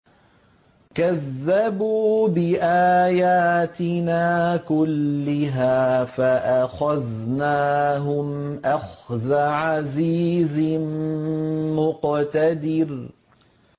كَذَّبُوا بِآيَاتِنَا كُلِّهَا فَأَخَذْنَاهُمْ أَخْذَ عَزِيزٍ مُّقْتَدِرٍ